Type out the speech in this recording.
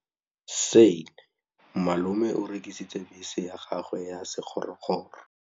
Malome o rekisitse bese ya gagwe ya sekgorokgoro.